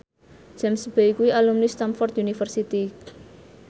James Bay kuwi alumni Stamford University